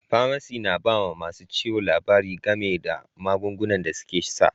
Pamasi na ba ma masun ciwo labari game da magunguna da suke sa.